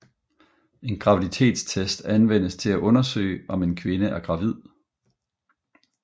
En graviditetstest anvendes til at undersøge om en kvinde er gravid